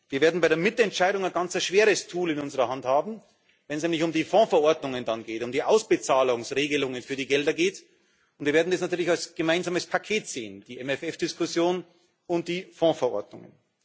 Wir werden bei der Mitentscheidung ein ganz schweres Tool in unserer Hand haben, wenn es nämlich um die Fondverordnungen um die Auszahlungsregelungen für die Gelder geht, und wir werden es natürlich als gemeinsames Paket sehen die MFR Diskussion und die Fondverordnungen.